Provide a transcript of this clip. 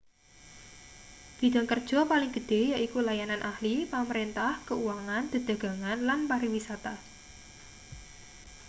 bidhang kerja paling gedhe yaiku layanan ahli pamrentah keuangan dedagangan lan pariwisata